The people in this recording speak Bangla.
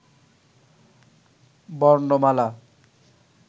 বর্ণমালা